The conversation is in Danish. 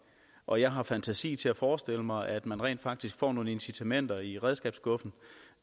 og jeg har fantasi til at forestille mig at man rent faktisk får nogle incitamenter i redskabsskuffen